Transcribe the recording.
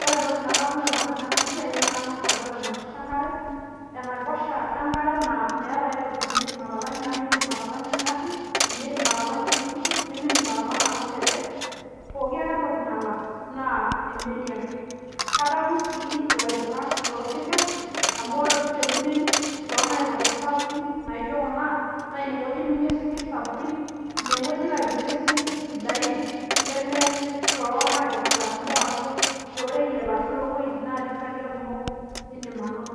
Ore entoki nadamu tenadol ena siai naa naa kang'as adol enaiposha enkare, enaiposha enkare naa meeta aitoki niindim atalang'ie amu miindim atalang'ie engari, miindim atalang'ie oltukutuk nemiindim atalang'a toonkejek, pooki ake entoki nalang' naa emeli ake. Adamu sii ilaibung'ak loosinkir amu ore oshi te kunen toonaipoosha sapukin naijo kuna naa inewueji itumie isinkirr sapukin, inewueji ilo aibung'ie isinkirr sidain leme too naiposha kumok ashu tooreyieta kumok, ashu too wueitin natii inkariak kumok indim anoto